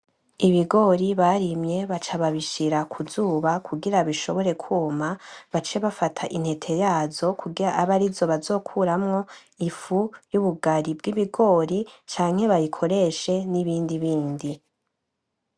Ibigori barimye baca babishira kuzuba kugira bishobore kwuma, bace bafata intete yazo kugira abe arizo bazokuramwo ifu yubugari bw'ibigori canke bayikoreshe n’ibindi bindi.